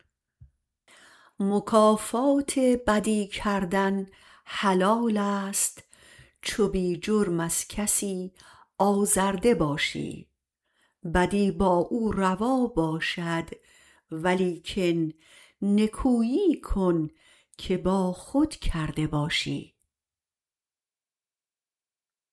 مکافات بدی کردن حلالست چو بی جرم از کسی آزرده باشی بدی با او روا باشد ولیکن نکویی کن که با خود کرده باشی